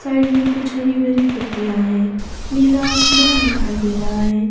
Side में कुछ हरी भरी पत्तियाँ हैं नीला आसमान दिखाई दे रहा है।